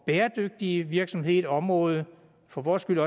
bæredygtige virksomheder område for vores skyld